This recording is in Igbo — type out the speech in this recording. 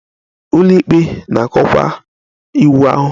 Ụlọikpe na-akọwa iwu ahụ.